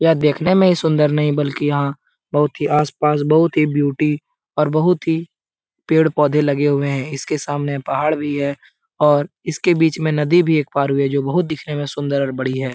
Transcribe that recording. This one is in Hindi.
यह देखने में ही सुन्दर नहीं बल्कि यहाँ बहुत ही आस-पास बहुत ही ब्यूटी और बहुत ही पेड़-पौधे लगे हुए है इसके सामने पहाड़ भी है और इसके बीच में नदी भी एक पार हुई है जो बहुत दिखने में बहुत सुन्दर और बड़ी है ।